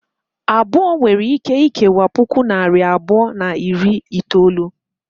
Abụọ nwere ike ikewa puku na narị abụọ na iri itolu.